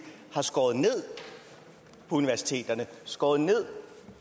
har skåret ned på universiteterne og skåret ned